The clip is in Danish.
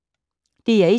DR1